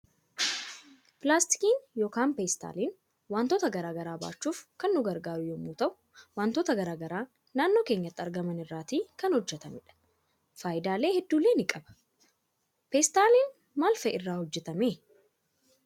Pilaastikiin yookaan peestaalin waantota garaa garaa baachuuf kan nu gargaaru yommuu ta'uu waantota garaa garaa naannoo keenyatti argaman irraatii kan hojjetamedha faayidaan hedduulle ni qaba. Peestaalin maal maal fa'i irraatii hojjetame?